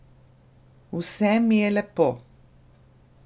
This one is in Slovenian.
Vse mi je lepo.